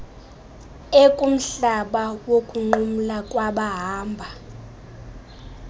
ekumhlaba wokunqumla kwabahamba